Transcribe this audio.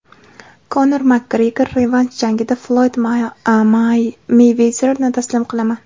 Konor Makgregor: Revansh jangida Floyd Meyvezerni taslim qilaman.